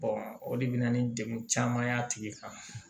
o de bɛ na ni degun caman ye a tigi kan